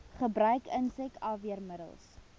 gebruik insek afweermiddels